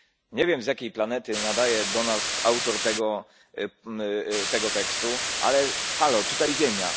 Nie wiem, z jakiej planety nadaje do nas autor tego tekstu, ale Halo, tutaj Ziemia.